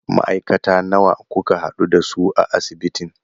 Ma'aikata nawa kuka haɗu da su a asibitin?